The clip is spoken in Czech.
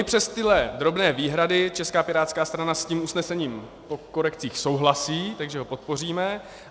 I přes tyto drobné výhrady Česká pirátská strana s tím usnesením po korekcích souhlasí, takže ho podpoříme.